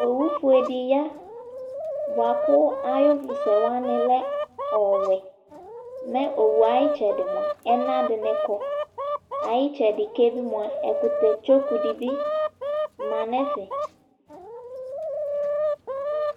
Owu fue dɩ ya ,bʋa kʋ ayʋ ʋvʋ sɛ wamɩ lɛ ɔwɛMɛ owue ayɩtsɛdɩ mʋa, ɛna dɩnɩ kɔ, ayɩtsɛdɩ ke bɩ mʋa ɛkʋtɛ tsoku dɩ bɩ ma nʋ ɛfɛ